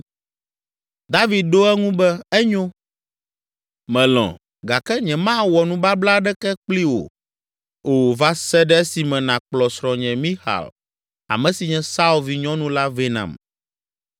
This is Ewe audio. David ɖo eŋu be, “Enyo, melɔ̃ gake nyemawɔ nubabla aɖeke kpli wò o va se ɖe esime nàkplɔ srɔ̃nye Mixal, ame si nye Saul vinyɔnu la vɛ nam.”